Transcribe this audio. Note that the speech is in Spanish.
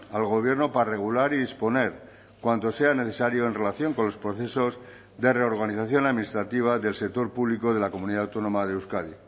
al gobierno para regular y disponer cuanto sea necesario en relación con los procesos de reorganización administrativa del sector público de la comunidad autónoma de euskadi